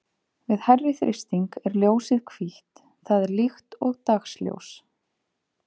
Við hærri þrýsting er ljósið hvítt, það er líkt og dagsljós.